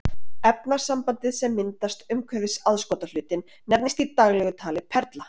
Efnasambandið sem myndast umhverfis aðskotahlutinn nefnist í daglegu tali perla.